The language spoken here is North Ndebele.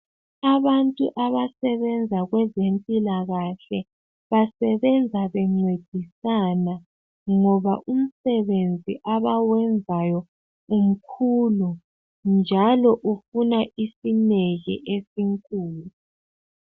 Abantu abasebenza kwezempilakahle basebenza bencedisana ngoba umsebenzi abawenzayo umkhulu njalo ufuna isineke esinkulu